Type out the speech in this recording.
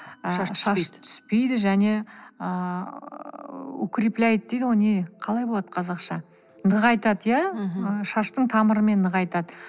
түспейді және ыыы укрепляет дейді ғой не қалай болады қазақша нығайтады иә мхм шашты тамырымен нығайтады